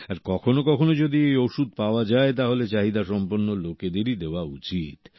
আর কখনো কখনো যদি এই ওষুধ পাওয়া যায় তাহলে চাহিদাসম্পন্ন লোকেদেরই দেওয়া উচিত